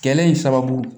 Kɛlen in sababu